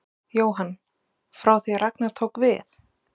Jóhann: Frá því að Ragnar tók við?